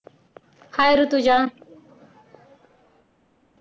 hi Rutuja